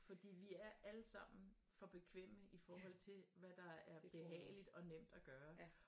Fordi vi er alle sammen for bekvemme i forhold til hvad der er behageligt og nemt at gøre